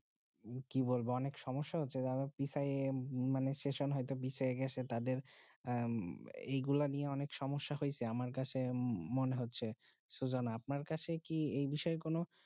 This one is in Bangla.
কি বলবো অনেক সমস্যা হচ্ছে মানে সেশন হয়ে বিষয়ে যে গুলু নিয়ম অনেক সমস্যা হয়েছে আমার কাছে মনে হয়েছে সুজন আপনার কাছে কি যেই বিষয়